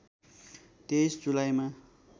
२३ जुलाईमा